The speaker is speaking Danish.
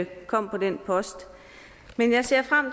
kom på den post men jeg ser frem